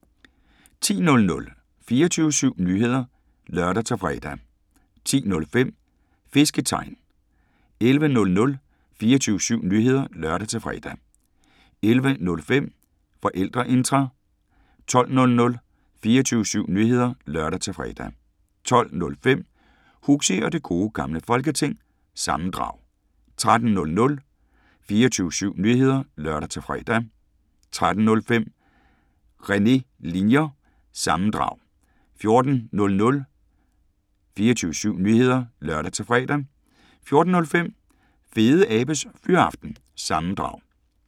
10:00: 24syv Nyheder (lør-fre) 10:05: Fisketegn 11:00: 24syv Nyheder (lør-fre) 11:05: Forældreintra 12:00: 24syv Nyheder (lør-fre) 12:05: Huxi og det Gode Gamle Folketing – sammendrag 13:00: 24syv Nyheder (lør-fre) 13:05: René Linjer- sammendrag 14:00: 24syv Nyheder (lør-fre) 14:05: Fedeabes Fyraften – sammendrag